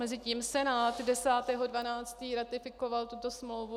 Mezitím Senát 10. 12 ratifikoval tuto smlouvu.